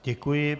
Děkuji.